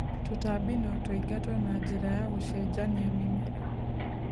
Tutambi notũingatwo na njĩra ya gũcenjania mĩmera.